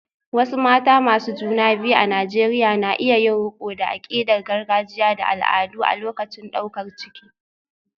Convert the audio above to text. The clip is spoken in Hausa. Wasu mata masu juna biyu a Najeriya na iya yin riko da akidar gargajiya da al'adu a lokacin daukar ciki.